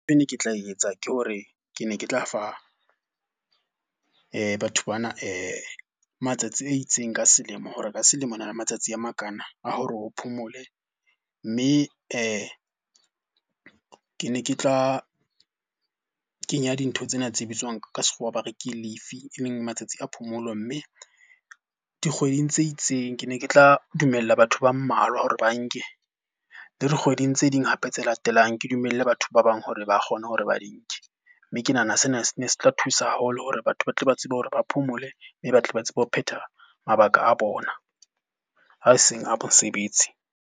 Ntho e ne ke tla etsa ke hore ke ne ke tla fa batho bana matsatsi a itseng ka selemo hore ka selemo re na le matsatsi a makana a hore o phomole. Mme ke ne ke tla kenya dintho tsena tse bitswang ka sekgowa ba re, ke leave e leng matsatsi a phomolo. Mme dikgweding tse itseng ke ne ke tla dumella batho ba mmalwa hore ba nke, le dikgweding tse ding hape tse la latelang ke dumelle batho ba bang hore ba kgone hore ba di nke. Mme ke nahana sena se ne se tla thusa haholo hore batho ba tle ba tsebe hore ba phomole, mme ba tle ba tsebe ho phetha mabaka a bona a seng a mosebetsi.